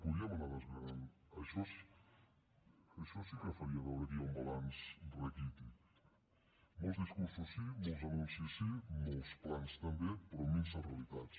podríem anar desgranant·ho això sí que faria veure que hi ha un balanç raquític molt dis·cursos sí molts anuncis sí molts plans també però minses realitats